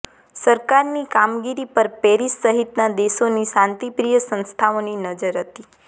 સરકારની કામગીરી પર પેરિસ સહિતના દેશોની શાંતિપ્રિય સંસ્થાઓની નજર હતી